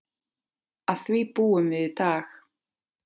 Að því búum við í dag.